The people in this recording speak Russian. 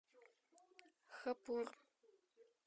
хапур